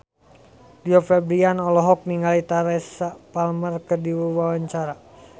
Rio Febrian olohok ningali Teresa Palmer keur diwawancara